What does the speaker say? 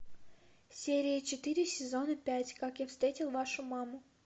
серия четыре сезона пять как я встретил вашу маму